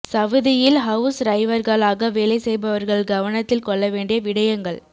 சவுதியில் ஹவுஸ் ரைவர்களாக வேலை செய்பவர்கள் கவனத்தில் கொள்ள வேண்டிய விடயங்கள்